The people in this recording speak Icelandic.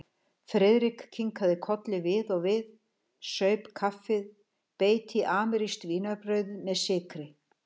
Friðrik kinkaði kolli við og við, saup kaffið, beit í amerískt vínarbrauð með sykri.